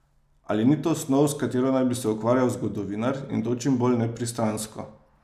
Ali ni to snov, s katero naj bi se ukvarjal zgodovinar, in to čim bolj nepristransko?